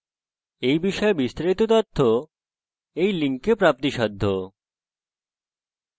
এই বিষয়ে বিস্তারিত তথ্য এই link প্রাপ্তিসাধ্য http:// spokentutorial org/nmeictintro